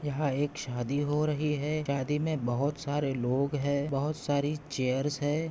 यहा एक शादी हो रही है। शादी मे बहुत सारे लोग है। बहुत सारी चेअर्स है।